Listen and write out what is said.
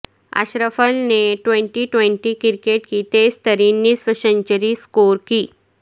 اشرفل نے twenty twenty cricket کی تیز ترین نصف سنچری سکور کی